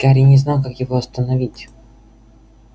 гарри не знал как его остановить